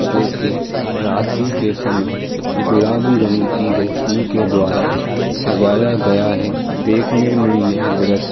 जो कि रात्री के समय गुलाबी रंग की रोशनी के द्वारा सजाया गया है। देखने मे यह दृश्य --